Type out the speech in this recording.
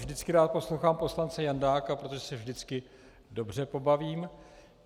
Vždycky rád poslouchám poslance Jandáka, protože se vždycky dobře pobavím.